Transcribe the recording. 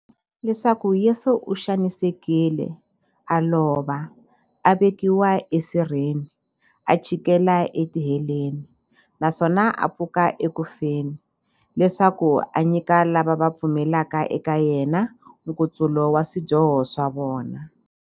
Leswaku Yesu u xanisekile, a lova, a vekiwa esirheni, a chikela etiheleni, naswona a pfuka eku feni, leswaku a nyika lava va pfumelaka eka yena, nkutsulo wa swidyoho swa vona.